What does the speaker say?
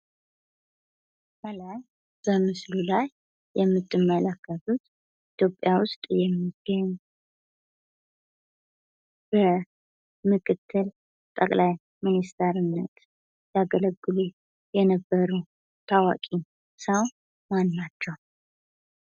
ከላይ በምስሉ ላይ የምትመለከቱት ኢትዮጵያ ውስጥ የሚገኙ በመክትል ጠቅላይ ሚኒስትርነት ያገለግሉ የነበሩ ታዋቂ ሰው ማን ናቸው?